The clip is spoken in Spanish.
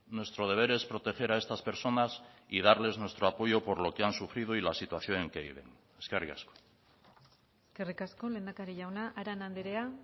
nuestro deber es proteger a estas personas y darles nuestro apoyo por lo que han sufrido y la situación en que viven eskerrik asko eskerrik asko lehendakari jauna arana andrea